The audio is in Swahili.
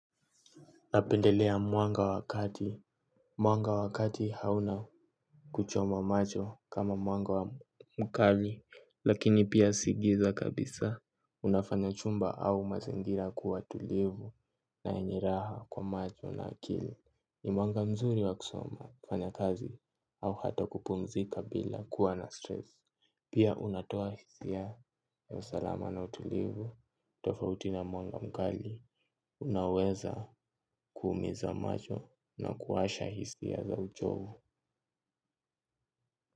Napendelea mwanga wa kati. Mwanga wa kati hauna kuchoma macho kama mwanga mkali. Lakini pia si giza kabisa. Unafanya chumba au mazingira kuwa tulivu na yenye raha kwa macho na akili. Ni mwanga mzuri wa kusoma, kufanya kazi au hata kupumzika bila kuwa na stress. Pia unatoa hisia ya usalama na utulivu tofauti na mwanga mkali. Unaweza kuumiza macho na kuasha hisia za uchovu.